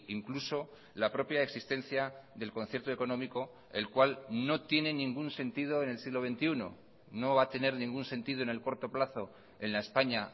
incluso la propia existencia del concierto económico el cual no tiene ningún sentido en el siglo veintiuno no va a tener ningún sentido en el corto plazo en la españa